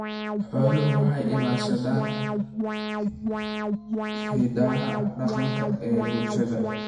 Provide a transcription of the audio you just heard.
Xooluhu waxay ilaashadaan hidaha dhaqanka ee bulshada.